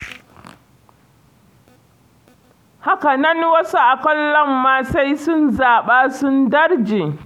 Haka nan wasu a kallon ma sai sun zaɓa sun darje.